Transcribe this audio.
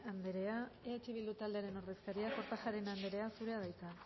andrea eh bildu taldearen ordezkaria kortajarena anderea zurea da hitza